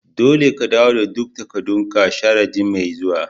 Dolle ka dawo da duk takadun ka sharadin' mai zuwa.